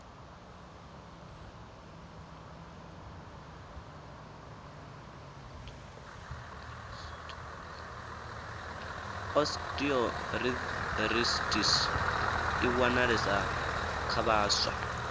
osteoarithritis i wanalesa kha vhaswa